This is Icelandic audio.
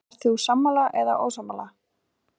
Ert þú sammála eða ósammála?